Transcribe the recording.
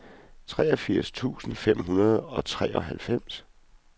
treogfirs tusind fem hundrede og treoghalvfems